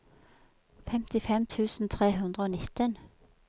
femtifem tusen tre hundre og nitten